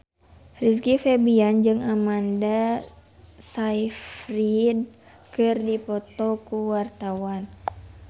Rizky Febian jeung Amanda Sayfried keur dipoto ku wartawan